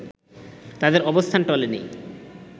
তাদের অবস্থান টলেনি